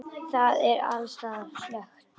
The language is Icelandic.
Það er alls staðar slökkt.